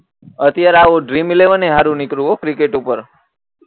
અત્યારે આ dream eleven એ હારું નીકળ્યું હો ક્રિકેટ ઉપર